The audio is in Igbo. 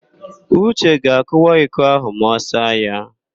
Uche ga-akụwa iko áhụ̀ ma ọ saa ya.